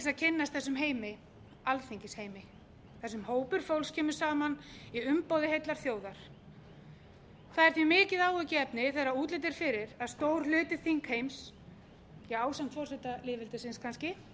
að kynnast þessum heimi alþingisheimi þar sem hópur fólks kemur saman í umboði heillar þjóðar það er því mikið áhyggjuefni þegar útlit er fyrir að stór hluti þingheims ásamt forseta lýðveldisins kannski